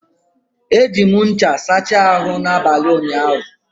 Eji m ncha sachaa n'abalị ụnyaahụ.